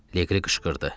Leqri qışqırdı.